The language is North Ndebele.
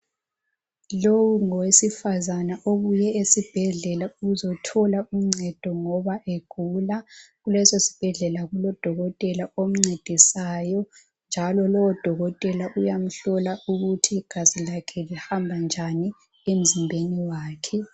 Lowu ngowesifazana obuye esibhedlela ukuzothola uncedo ngoba egula, kuleso sibhedlela kulodokotela omcedisayo njalo lowo dokotela uyamhlola ukuthi igazi lakhe lihamba njani emzimbeni wakhe.